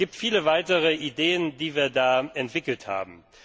Es gibt viele weiteren Ideen, die wir da entwickelt haben.